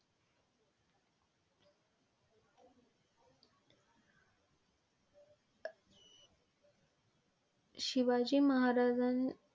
Shivaji महाराजांन.